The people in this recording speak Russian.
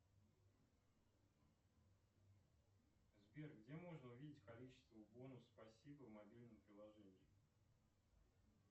сбер где можно увидеть количество бонусов спасибо в мобильном приложении